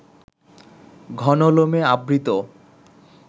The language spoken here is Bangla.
ঘন লোমে আবৃত